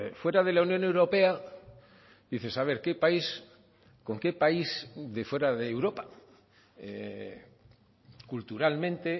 fuera de la unión europea dices haber qué país con qué país de fuera de europa culturalmente